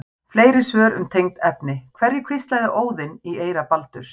Fleiri svör um tengd efni: Hverju hvíslaði Óðinn í eyra Baldurs?